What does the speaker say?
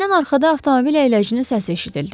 Həkimdən arxada avtomobil əyləcinin səsi eşidildi.